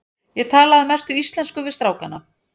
Ég tala að mestu íslensku við strákana.